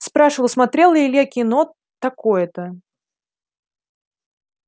спрашивал смотрел ли илья кино такое-то